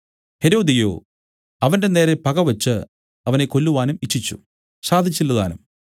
ഹെരോദ്യയോ അവന്റെനേരെ പകവച്ച് അവനെ കൊല്ലുവാനും ഇച്ഛിച്ചു സാധിച്ചില്ല താനും